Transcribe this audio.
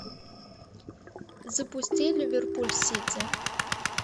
запусти ливерпуль сити